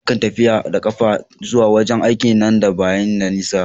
Na kan tafiya da kafa zuwa wajen aiki na dan ba yi da nisa.